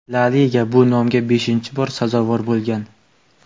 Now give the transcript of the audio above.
La liga bu nomga beshinchi bor sazovor bo‘lgan.